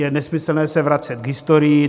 Je nesmyslné se vracet k historii.